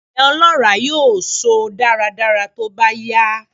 Ilẹ̀ ọlọ́ràá yóò so dáradára tóbá yá.